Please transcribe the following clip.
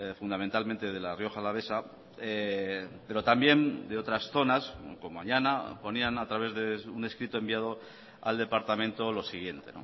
fundamentalmente de la rioja alavesa pero también de otras zonas como añana ponían a través de un escrito enviado al departamento lo siguiente